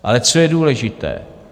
Ale co je důležité?